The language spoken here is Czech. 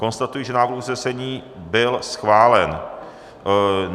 Konstatuji, že návrh usnesení byl schválen.